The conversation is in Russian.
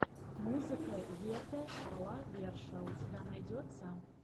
музыка вете а ла верша у тебя найдется